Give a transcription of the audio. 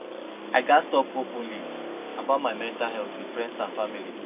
I gats talk openly about my mental health with friends and family.